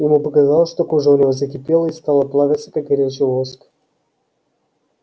ему показалось что кожа у него закипела и стала плавиться как горячий воск